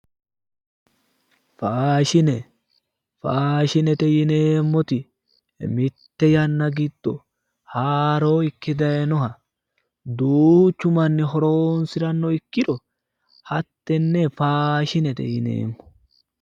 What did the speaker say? Faashine, faashinete yineemmoti mite yanna giddo haaro ikke daayinoha duuchu manni horonsirano ikkiro hattene faashinete yineemmo